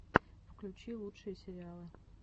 включи лучшие сериалы